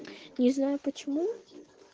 не знаю почему